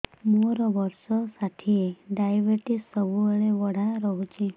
ମୋର ବର୍ଷ ଷାଠିଏ ଡାଏବେଟିସ ସବୁବେଳ ବଢ଼ା ରହୁଛି